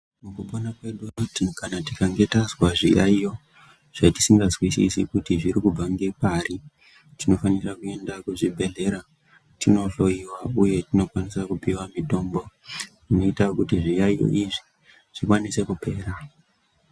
Mukupona kwedu uku kana tikange tazwa zviyayiro zvatisingazwisisi kuti zviri kubva ngepari, tinofanira kuenda kuzvibhedhlera tinohloyiwa uye tinokwanisa kupiwa mitombo inoita kuti zviyayiyo izvi zvikwanise kupera.